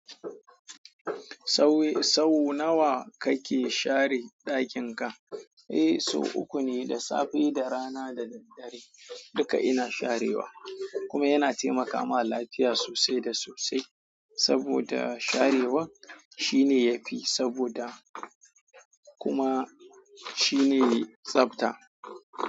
Sau sau nawa kake share ɗakin ka? Eh, sau uku ne, da safe, da rana da daddare. Duka ina sharewa kuma yana taimaka ma lafiya sosai da sosai. Saboda sharewa shine yafi saboda kuma shine tsabta.